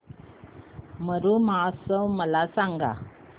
मरु महोत्सव मला सांग